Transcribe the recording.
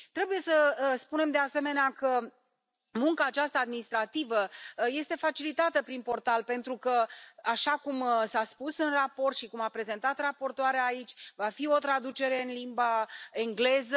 Trebuie să spunem, de asemenea, că munca aceasta administrativă este facilitată prin portal pentru că, așa cum s a spus în raport și cum a prezentat raportoarea aici, va fi o traducere în limba engleză.